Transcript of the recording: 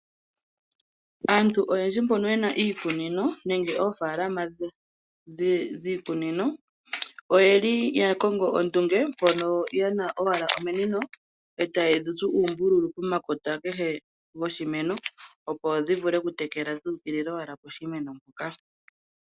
Aantu oyendji mbono ye na iikunino nenge oofaalama dhiikunino, oye li ya kongo ondunge mbono ye na owala iiminino e taye dhi tsu oombululu pomakota kehe goshimeno, opo dhi vule okutekela owala dhuukilila poshimeno mpoka.